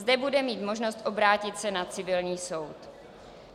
Zde bude mít možnost obrátit se na civilní soud.